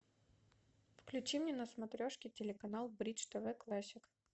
включи мне на смотрешке телеканал бридж тв классик